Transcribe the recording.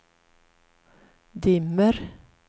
dimmer